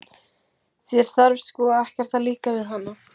Þér þarf sko ekkert að líka við hana.